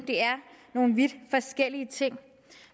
det er nogle vidt forskellige ting